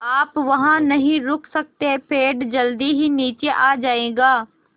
आप वहाँ नहीं रुक सकते पेड़ जल्दी ही नीचे आ जाएगा